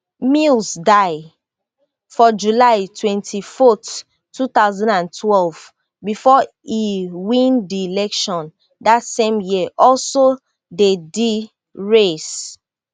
mills die for july twenty-fourth two thousand and twelve before e win di election dat same year also dey di race